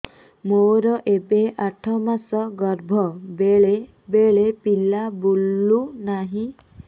ମୋର ଏବେ ଆଠ ମାସ ଗର୍ଭ ବେଳେ ବେଳେ ପିଲା ବୁଲୁ ନାହିଁ